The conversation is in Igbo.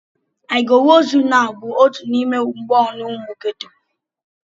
"I go wooz you nau!" bụ otu n'ime mgboonu ụmụ geto.